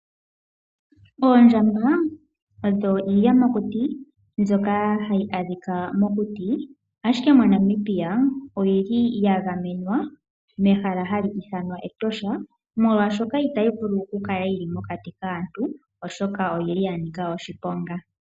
Oondjamba odho iiyamakuti mbyoka hayi adhika mokuti. MoNamibia oya gamenwa mehala hali ithanwa Etosha, molwashoka itayi vulu okukala mokati kaantu, oshoka oya nika oshiponga.